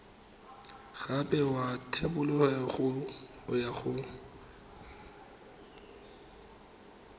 gape ya thebolelo ya go